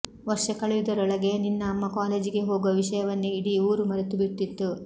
ವರ್ಷ ಕಳೆಯುವುದರೊಳಗೆ ನಿನ್ನ ಅಮ್ಮ ಕಾಲೇಜಿಗೆ ಹೋಗುವ ವಿಷಯವನ್ನೇ ಇಡೀ ಊರು ಮರೆತು ಬಿಟ್ಟಿತ್ತು